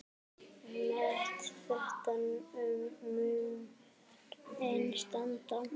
Met þetta mun enn standa.